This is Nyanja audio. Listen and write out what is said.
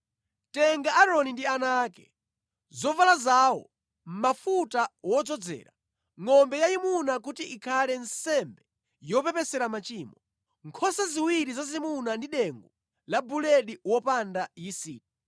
“Tenga Aaroni ndi ana ake, zovala zawo, mafuta wodzozera, ngʼombe yayimuna kuti ikhale nsembe yopepesera machimo, nkhosa ziwiri zazimuna ndi dengu la buledi wopanda yisiti,